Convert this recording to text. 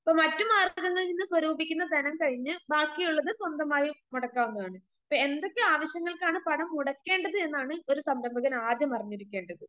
ഇപ്പൊ മറ്റുമാർഗ്ഗങ്ങളിൽ നിന്ന് സ്വരൂപിക്കുന്ന ധനം കഴിഞ്ഞു ബാക്കിയുള്ളത് സ്വന്തമായി മുടക്കാവുന്നതാണ്. ഇപ്പൊ എന്തൊക്കെ ആവശ്യങ്ങൾക്കാണ് പണം മുടക്കേണ്ടത് എന്നാണ് ഒരു സംരംഭകൻ ആദ്യം അറിഞ്ഞിരിക്കേണ്ടത്.